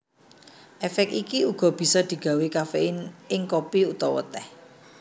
Èfék iki uga bisa digawé kaféin ing kopi utawa tèh